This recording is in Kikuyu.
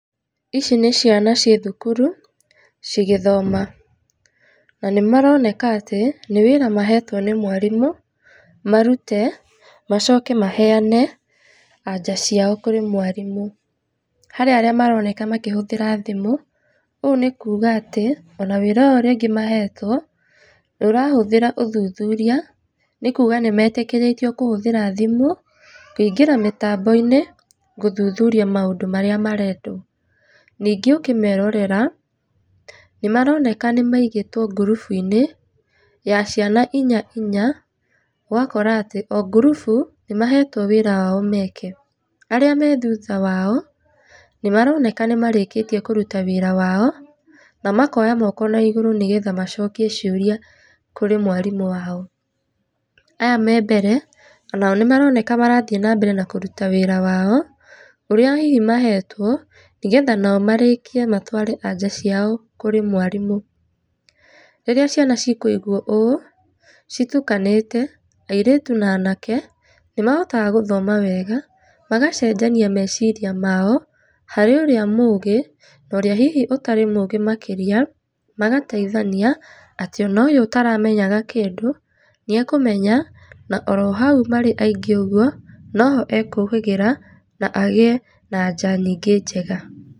Ici nĩ ciana ciĩ thukuru cigĩthoma na nĩmaroneka atĩ nĩ wĩra mahetwo nĩ mwarimũ marute macoke maheane anja ciao kũrĩ mwarimũ. Harĩ arĩa maroneka makĩhũthira thimũ ũũ nĩ kuga atĩ ona wĩra ũyũ rĩngĩ mahetwo nĩũrahũthĩra ũthuthuria nĩ kuga nĩmetĩkĩritĩo kũhũthĩra thimũ kũingĩra mĩtambo-inĩ gũthuthuria maũndũ marĩa marendwo. Ningĩ ũkĩmerorera nĩmaroneka nĩ maigĩtwo ngurubu-inĩ ya ciana inya inya ũgakora ati o ngurubu nĩmahetwo wĩra wao meke.Arĩa me thutha wao nĩmaroneka nĩmarĩkĩtĩe kũruta wĩra wao na makoya moko na igũrũ nĩgetha macokie ciũrĩa kũrĩ mwarimũ wao. Aya me mbere onao nĩmaroneka marathĩe na mbere na kũrũta wĩra wao ũrĩa hihi mahetwo nĩgetha nao marĩkie matware anja ciao kũrĩ mwarimũ. Rĩrĩa ciana cikũigwo ũũ citukanĩte airĩtu na anake nĩmahotaga gũthoma wega magacenjania meciria mao harĩ ũrĩa mũgĩ na ũrĩa hihi ũtarĩ mũgĩ makĩria magateithania atĩ ona ũyũ ũtaramenyaga kĩndũ nĩ akũmenya na oro hau marĩ aingĩ ũguo noho ekũhĩgĩra na agĩe na anja nyingĩ njega.